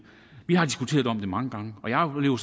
vi har diskuteret det mange gange og jeg oplever